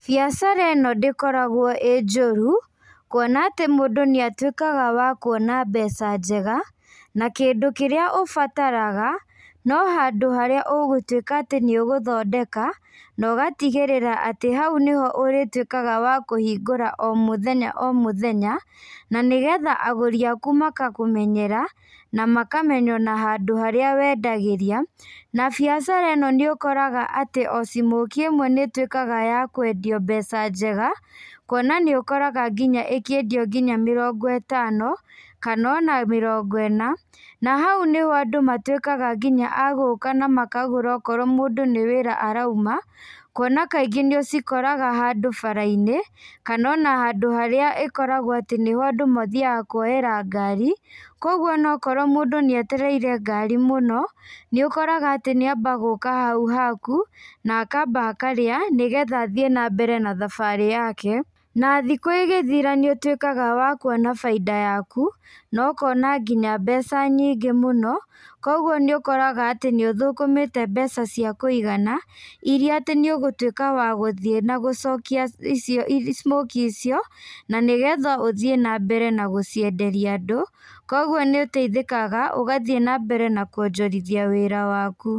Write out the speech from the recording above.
Biacara ino ndĩkoragwo ĩ njũru kuona atĩ mũndũ nĩatwĩkaga wa kuona mbeca njega na kĩndũ kĩrĩa ũbataraga no handũ harĩa ũgũtwĩka atĩ nĩũgũthondeka na ũgatigĩrĩra atĩ hau nĩho ũrĩtwĩkaga wa kũhingũra o mũthenya o mũthenya na nĩgetha agũri aku makakũmenyera na makamenya ona handũ harĩa wendagĩria na biacara ino nĩũkoraga atĩ o smokie imwe nĩtwĩkaga ya kwendio mbeca njega kuona nĩ ũkoraga nginya ikiendio nginya mĩrongo ĩtano kana ona mĩrongo ĩna na hau nĩho andũ matwĩkaga nginya a gũka na makagũra okorwo mũndũ nĩ wĩra arauma kuona kaingĩ nĩũcikoraga handũ bara-inĩ kana ona handũ harĩa ekoragwo atĩ andũ mathiaga kũoera ngari koguo ona akorwo mũndũ nĩ etereire ngari mũno nĩũkoraga atĩ nĩamba gũka hau haku na akamba akarĩa nĩgetha athiĩ na mbere na thabarĩ yake na thikũ ĩgĩthira nĩũtuĩkaga wa kuona bainda yaku na ũkona nginya mbeca nyingĩ mũno kogũo nĩũkoraga atĩ nĩũthũkũmĩte mbeca ciakuigana iria atĩ nĩũgũtuĩka wa gũthiĩ na gũcokia smokie icio na nĩgetha ũthiĩ na mbere na gũcienderia andũ koguo nĩũteithĩkaga ũgathiĩ na mbere na kuonjorithia wĩra waku.